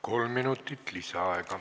Kolm minutit lisaaega.